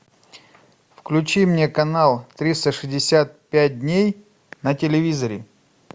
включи мне канал триста шестьдесят пять дней на телевизоре